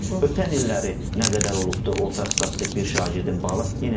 Ötən illəri nə qədər olubdur orta statistik bir şagirdin balı?